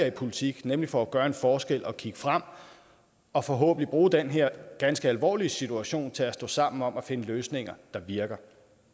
i politik nemlig for at gøre en forskel og kigge frem og forhåbentlig bruge den her ganske alvorlige situationen til at stå sammen om at finde løsninger der virker